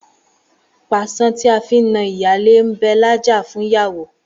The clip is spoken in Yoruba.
Pàṣán tí a fi na ìyálé ń bẹ lájà fún ìyàwó